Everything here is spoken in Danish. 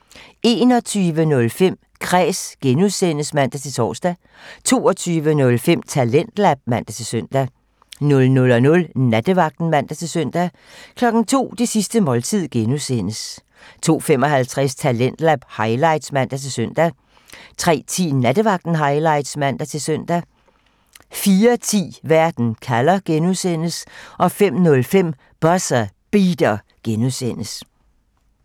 21:05: Kræs (G) (man-tor) 22:05: Talentlab (man-søn) 00:00: Nattevagten (man-søn) 02:00: Det sidste måltid (G) 02:55: Talentlab highlights (man-søn) 03:10: Nattevagten Highlights (man-søn) 04:10: Verden kalder (G) 05:05: Buzzer Beater (G)